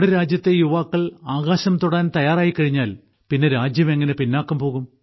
നമ്മുടെ രാജ്യത്തെ യുവാക്കൾ ആകാശം തൊടാൻ തയ്യാറായിക്കഴിഞ്ഞാൽ പിന്നെ എങ്ങനെ രാജ്യം പിന്നാക്കം പോകും